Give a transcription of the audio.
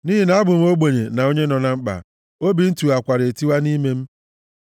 Nʼihi na abụ m ogbenye na onye nọ na mkpa, obi m tiwakwara etiwa nʼime m.